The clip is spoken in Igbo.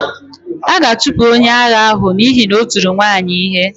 A ga-achụpụ onye agha ahụ n'ihi na o tiri nwaanyị ihe.